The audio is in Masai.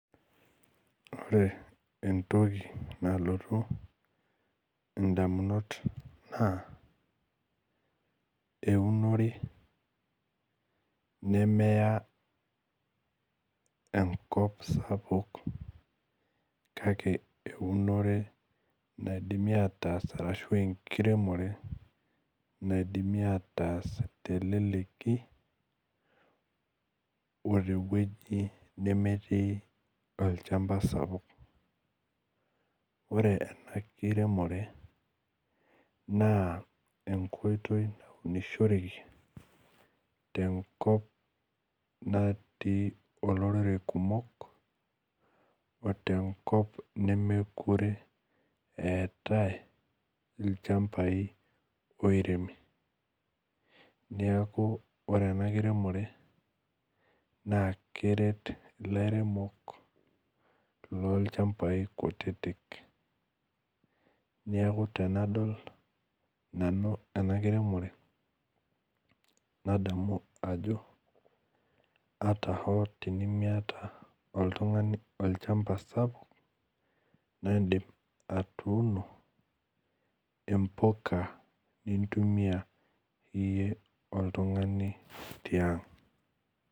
Orebentoki nalotu ndamunot na eunore nemeya enkop sapuk kake enkop naidimi ataas enkiremore naidimi ataas telekki otewoi nemetii olchamba sapuk ore enkiremore na enkoitoi tenkop natii olorere kumok otenkop nemwkute eetae ilchambai oiremi neakubore enakiremore na keret lairemok lolchambai kutitik neaku anadolnanu enakiremore na kadol ajo ata tenimista oltungani olchamba sapuk na indim atuuno impuka nimtumia oltungani tiang.